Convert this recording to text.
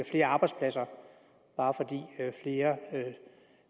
flere arbejdspladser bare flere